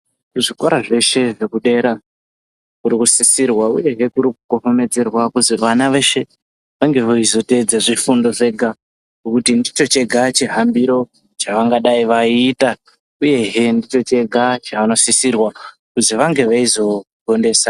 Muzvikora zveshe zvekudera zviri kusisirwa uyehe kuri kukohekemedzerwa kuti vana veshe vange veizotedza zvifundo zvega, ngekuti ndicho chega chihambiro chavangadai veita. Uyehe ndicho chega chavanosisirwa kuti vange veizogondesa.